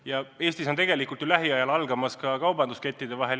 Ja Eestis on tegelikult lähiajal algamas hinnasõda poekettide vahel.